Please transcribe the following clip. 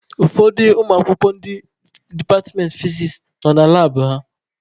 Ụfọdụ ụmụakwụkwọ ndị departmentị fiziks nọ na labụ ha.